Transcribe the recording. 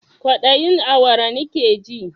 Kwaɗayin awara nakeji